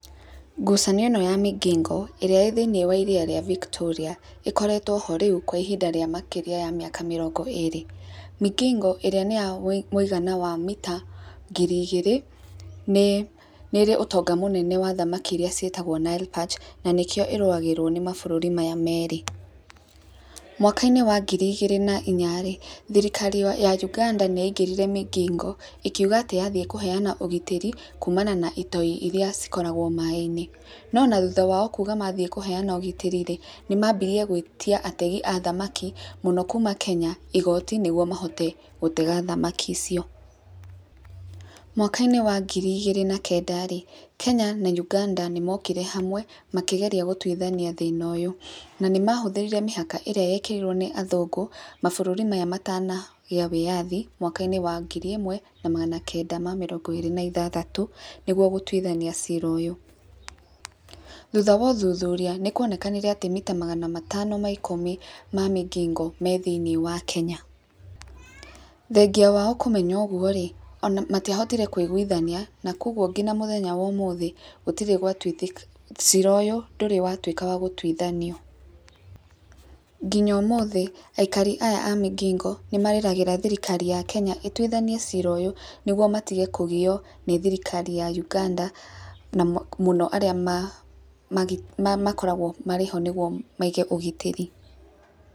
Ngucanio ĩno ya Migingo, ĩrĩa ĩĩ thĩiniĩ wa iria rĩa Vitoria, ĩkoretwo ho rĩu kwa ihinda rĩa makĩria ya mĩka mĩrongo ĩĩrĩ. Migingo, ĩrĩa nĩ ya mũigana wa mita ngiri igĩrĩ, nĩ nĩ ĩrĩ ũtonga mũnene wa thamaki irĩa citĩtagwo Nile Perch, na nĩkĩo ĩrũgagĩrĩrwo nĩ mabũrũri maya merĩ. Mwaka-inĩ wa ngiri igĩrĩ na inya rĩ, thirikari ya Uganda nĩ yaingĩrire Migingo, ĩkiuga atĩ yathiĩ kũheana ũgitĩri, kumana na itoi irĩa cikoragwo maĩ-inĩ. No ona thutha wao kuuga mathiĩ kũheana ũgitĩri rĩ, nĩ mambirie gwĩtia ategi a thamaki mũno kuuma Kenya igooti nĩguo mahote gũtega thamaki icio. Mwaka-inĩ wa ngiri igĩrĩ na kenda rĩ, Kenya na Uganda nĩ mokire hamwe, makĩgeria gũtuithania thĩna ũyũ. Na nĩ mahũthĩre mĩhaka ĩrĩa yekĩrirwo nĩ athũngũ, mabũrũri maya matanagĩa wĩyathi, mwaka-inĩ wa ngiri ĩmwe, na magana kenda ma mĩrongo ĩĩrĩ na ithathatũ, nĩguo gũtuithaia ciira ũyũ. Thutha wa ũthuthuria, nĩ kuonekanire atĩ mita magana matano ma ikũmi ma Migingo me thĩiniĩ wa Kenya. Thengia wao kũmenya ũguo rĩ, ona matiahotire kũiguithania, na kũguo nginya mũthenya wa ũmũthĩ gũtirĩ gwatuithĩka cira ũyũ, ndũrĩ watuĩka wa gũtuithanio. Nginya ũmũthĩ, aikari aya a Migingo, nĩ marĩragĩra thirikari ya Kenya ĩtuithanie ciira ũyũ, nĩguo matige kũgio nĩ thirikari ya Uganda, na mũno arĩa makoragwo marĩ ho nĩguo maige ũgitĩri.